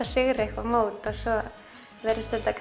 sigrar eitthvað mót en svo virðist þetta